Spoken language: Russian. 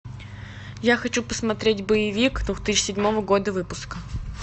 я хочу посмотреть боевик две тысячи седьмого года выпуска